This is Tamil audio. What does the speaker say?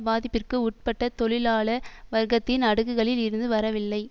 பாதிப்பிற்கு உட்பட்ட தொழிலாள வர்க்கத்தின் அடுக்குகளில் இருந்து வரவில்லை